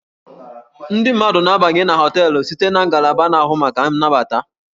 Ndị mmadụ na-abanye na hóteélụ̀ site na ngalaba na-ahụ maka nnabata